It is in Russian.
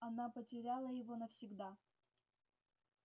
она потеряла его навсегда